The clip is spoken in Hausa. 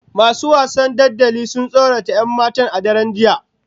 Masu wasan dodanni sun tsorata 'yan matan a daren jiya